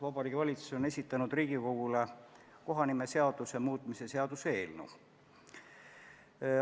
Vabariigi Valitsus on esitanud Riigikogule kohanimeseaduse muutmise seaduse eelnõu.